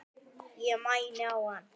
Ég mæni á hann.